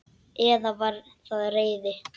Eða var það reiði?